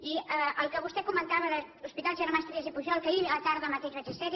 i el que vostè comentava de l’hospital germans trias i pujol que ahir a la tarda mateix vaig esser hi